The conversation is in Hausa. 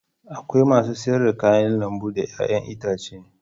Akwai masu sayar da kayan lambu da 'ya'yan itatuwa.